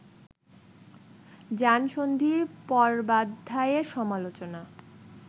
যানসন্ধি-পর্বাধ্যায়ের সমালোচনা